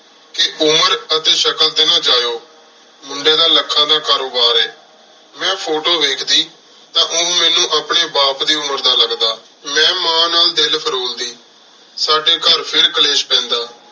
T ਉਮਰ ਅਤੀ ਸ਼ਕਲ ਊਟੀ ਨਾ ਜਯੋ ਮੁੰਡੀ ਦਾ ਲਖਾਂ ਦਾ ਕਾਰੋਬਾਰ ਆਯ ਮੇਂ ਫੋਟੋ ਵੇਖਦੀ ਤਾਂ ਓਹ ਮੇਨੂ ਅਪਨੀ ਬਾਪ ਦੀ ਉਮਰ ਦਾ ਲਗਦਾ ਮੇਂ ਮਾਂ ਨਾਲ ਦਿਲ ਫਾਰੋਲ ਦੀ ਸਾਡੀ ਘਰ ਫੇਰ ਕਲੇਸ਼ ਪੀਂਦਾ